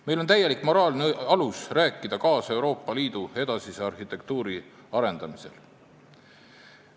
Meil on täielik moraalne alus rääkida kaasa Euroopa Liidu edasise arhitektuuri kujundamisel.